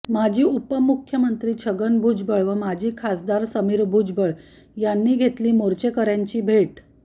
माजी उपमुख्यमंत्री छगन भुजबळ व माजी खासदार समीर भुजबळ यांनी घेतली मोर्चेकऱ्यांनी भेट